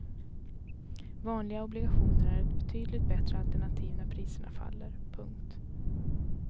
Vanliga obligationer är ett betydligt bättre alternativ när priserna faller. punkt